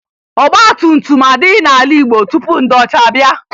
Ọgbatumtum adịghị n'ala Igbo tupu ndị ọcha abịa